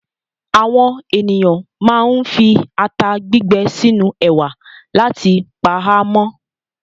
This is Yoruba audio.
Àwọn ènìyàn máa ń fi ata gbígbẹ sínú ẹ̀wà láti pa á mọ́.